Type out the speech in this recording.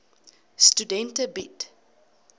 studente bied